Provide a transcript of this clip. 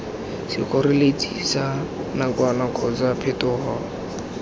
sekgoreletsi sa nakwana kgotsa phetogo